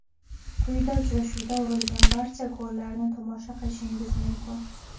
Quyida uchrashuvda urilgan barcha gollarni tomosha qilishingiz mumkin.